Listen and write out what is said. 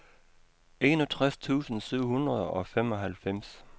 enogtres tusind syv hundrede og femoghalvfems